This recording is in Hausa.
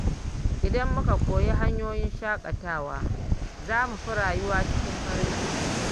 Idan muka koyi hanyoyin shakatawa, za mu fi rayuwa cikin farin ciki.